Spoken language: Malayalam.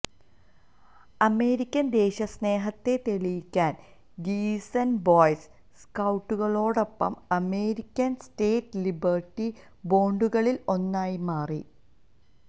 അമേരിക്കൻ ദേശസ്നേഹത്തെ തെളിയിക്കാൻ ഗിയിസെൽ ബോയ് സ്കൌട്ടുകളോടൊപ്പം അമേരിക്കൻ സ്റ്റേറ്റ് ലിബർട്ടി ബോണ്ടുകളിൽ ഒന്നായി മാറി